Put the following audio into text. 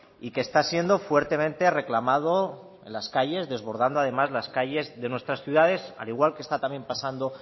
y que está siendo fuertemente reclamado en las calles desbordando además las calles de nuestras ciudades al igual que esta también pasando